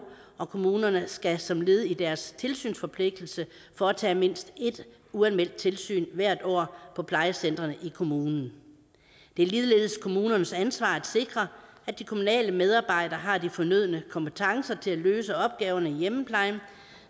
og kommunerne skal som led i deres tilsynsforpligtelse foretage mindst ét uanmeldt tilsyn hvert år på plejecentrene i kommunen det er ligeledes kommunernes ansvar at sikre at de kommunale medarbejdere har de fornødne kompetencer til at løse opgaverne i hjemmeplejen